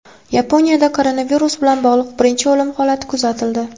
Yaponiyada koronavirus bilan bog‘liq birinchi o‘lim holati kuzatildi.